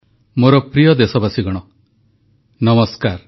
ପ୍ରଧାନମନ୍ତ୍ରୀ ଶ୍ରୀ ନରେନ୍ଦ୍ର ମୋଦୀଙ୍କ ରେଡ଼ିଓ ଅଭିଭାଷଣ ମନ୍ କି ବାତ୍